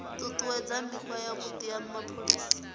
ṱuṱuwedza mikhwa yavhuḓi ya mapholisa